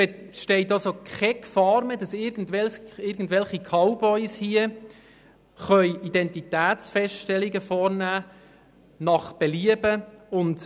Somit besteht keine Gefahr mehr, dass irgendwelche Cowboys willkürlich und nach Belieben Identitätsfeststellungen vornehmen können.